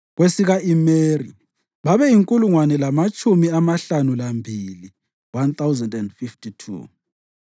kwesika-Imeri babeyinkulungwane lamatshumi amahlanu lambili (1,052),